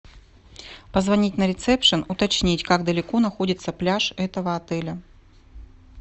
позвонить на ресепшн уточнить как далеко находится пляж этого отеля